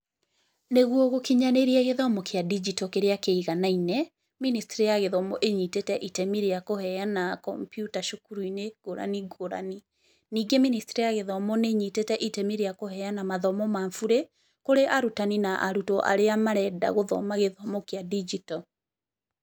Nĩguo gũkinyanĩria gĩthomo kĩa ndigito kĩrĩa kĩiganaine, mĩnĩstrĩ ya gĩthomo ĩnyitĩte itemi rĩa kũheana kompyuta cukuru-inĩ ngũrani ngũrani. Ningi mĩnĩstrĩ ya gĩthomo nĩ ĩnyitĩte itemi rĩa kũheana mathomo ma burĩ, kũrĩ arutani na arutwo arĩa marenda gũthoma gĩthomo kĩa ndigito.